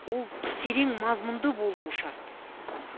ол терең мазмұнды болуы шарт